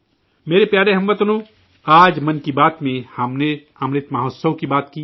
میرے پیارے اہل وطن حضرات، آج 'من کی بات' میں ہم نے امرت مہوتسو کی بات کی